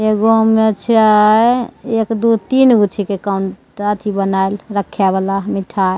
एगो में चाय एक दू तीन गो छींके काउन अथी बनाएल रखे वाला मिठाई --